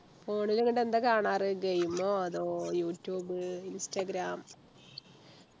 phone ലു ങ്ങട് എന്താ കാണാറ് game ഓ അതോ യൂട്യൂബ് ഇൻസ്റ്റാഗ്രാം